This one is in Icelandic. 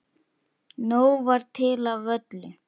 Nóg var til af öllu.